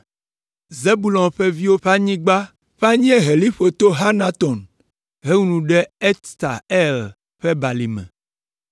Zebulon ƒe viwo ƒe anyigba ƒe anyieheliƒo to Hanaton hewu nu ɖe Ifta El ƒe balime.